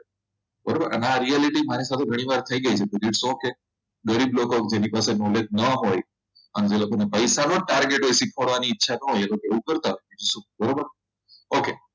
બરોબર અને આ reality મારી સાથે ઘણીવાર થઈ ગઈ છે તો its okay ગરીબ લોકો જેની પાસે knowledge ના હોય અને જે લોકોને પૈસા નું જ target હોય શીખવાડવાની ઈચ્છા ન હોય એ તેઓ કરતા હોય બરાબર okay